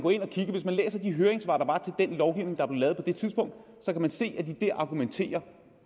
hvis man læser de høringssvar der var den lovgivning der blev lavet på det tidspunkt kan man se at de der argumenterer